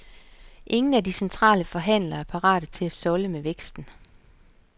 Ingen af de centrale forhandlere er parate til at solde med væksten.